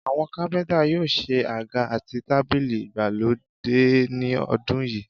Àwọn kápẹ́ntà yóò ṣe àga àti tábìlì ìgbàlódé ní ọdún yìí